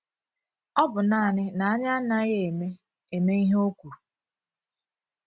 Ọ bụ naanị na anyị anaghị eme eme ihe o kwuru.